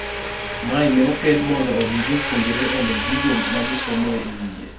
mae ne okel mondo omi jopuonjre on'e gigo magisomoe e wiye